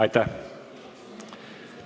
Aitäh!